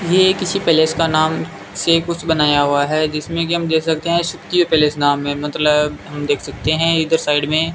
ये किसी पैलेस का नाम से कुछ बनाया हुआ है जिसमें कि हम देख सकते हैं पैलेस में मतलब हम देख सकते हैं इधर साइड में --